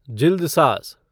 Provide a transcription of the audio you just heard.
जिल्दसाज़